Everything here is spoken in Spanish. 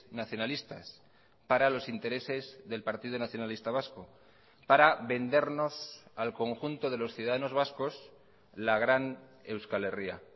nacionalistas para los intereses del partido nacionalista vasco para vendernos al conjunto de los ciudadanos vascos la gran euskal herria